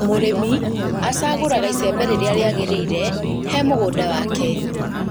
Mũrĩmi acagũraga icembe rĩrĩa rĩagĩrĩire na mũgũnda wake